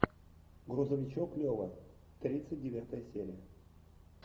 грузовичок лева тридцать девятая серия